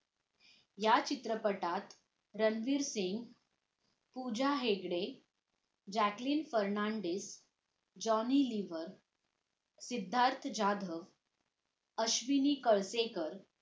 या चित्रपटात रणवीर सिंग, पूजा हेगडे, जॅकलिन फर्नाडिस, जॉनी लिव्हर, सिद्धार्थ जाधव अश्विनी कळसेकर